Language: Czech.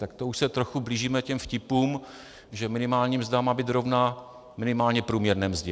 Tak to už se trochu blížíme těm vtipům, že minimální mzda má být rovna minimálně průměrné mzdě.